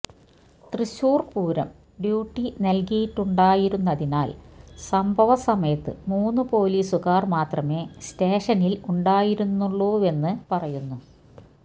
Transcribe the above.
Thrissur Pooram duty നല്കിയിട്ടുണ്ടായിരുന്നതിനാല് സംഭവസമയത്ത് മൂന്ന് പോലീസുകാര് മാത്രമേ സ്റ്റേഷനില് ഉണ്ടായിരുന്നുള്ളൂവെന്ന് പറയുന്നു